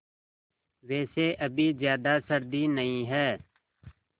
वैसे अभी ज़्यादा सर्दी नहीं है